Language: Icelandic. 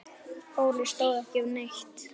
Óli stóð ekki við neitt.